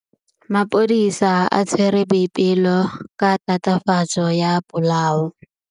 Maphodisa a tshwere Boipelo ka tatofatsô ya polaô.